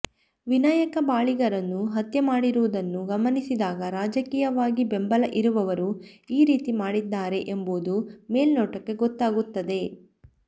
ವಿನಾಯಕ್ ಬಾಳಿಗಾರನ್ನು ಹತ್ಯೆ ಮಾಡಿರುವುದನ್ನು ಗಮನಿಸಿದಾಗ ರಾಜಕೀಯವಾಗಿ ಬೆಂಬಲ ಇರುವವರು ಈ ರೀತಿ ಮಾಡಿದ್ದಾರೆ ಎಂಬುದು ಮೇಲ್ನೋಟಕ್ಕೆ ಗೊತ್ತಾಗುತ್ತದೆ